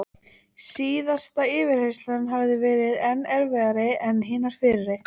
Síðasta yfirheyrslan hafði verið enn erfiðari en hinar fyrri.